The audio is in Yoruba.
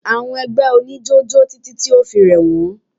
Àwọn ẹgbẹ́ oníjó jó títí tí o fi rẹ̀ wọ́n.